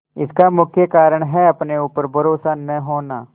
इसका मुख्य कारण है अपने ऊपर भरोसा न होना